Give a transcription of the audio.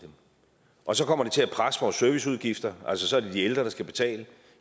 og så kommer det til at presse vores serviceudgifter altså så er det de ældre der skal betale